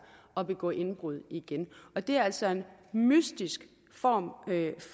at begå indbrud igen og det er altså en mystisk form